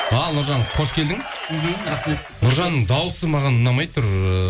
ал нұржан қош келдің мхм рахмет нұржанның дауысы маған ұнамай тұр ыыы